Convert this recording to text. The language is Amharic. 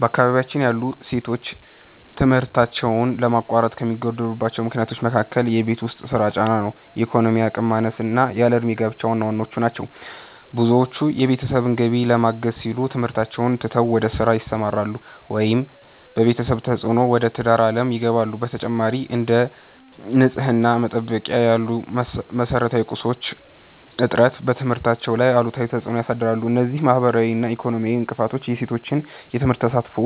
በአካባቢያችን ያሉ ሴቶች ትምህርታቸውን ለማቋረጥ ከሚገደዱባቸው ምክንያቶች መካከል የቤት ውስጥ ሥራ ጫና፣ የኢኮኖሚ አቅም ማነስና ያለ ዕድሜ ጋብቻ ዋናዎቹ ናቸው። ብዙዎቹ የቤተሰብን ገቢ ለማገዝ ሲሉ ትምህርታቸውን ትተው ወደ ሥራ ይሰማራሉ፤ ወይም በቤተሰብ ተፅዕኖ ወደ ትዳር ዓለም ይገባሉ። በተጨማሪም፥ እንደ ንጽሕና መጠበቂያ ያሉ መሠረታዊ ቁሳቁሶች እጥረት በትምህርታቸው ላይ አሉታዊ ተፅዕኖ ያሳድራል። እነዚህ ማኅበራዊና ኢኮኖሚያዊ እንቅፋቶች የሴቶችን የትምህርት ተሳትፎ